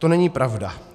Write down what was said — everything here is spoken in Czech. - To není pravda.